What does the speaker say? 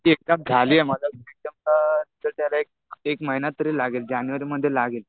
माझी एक्झाम झालीय. माझा रिजल्ट आता, रिजल्ट यायला एक महिना तरी लागेल. जानेवारीमध्ये लागेल.